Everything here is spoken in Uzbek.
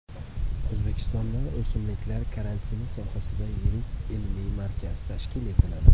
O‘zbekistonda o‘simliklar karantini sohasida yirik ilmiy markaz tashkil etiladi.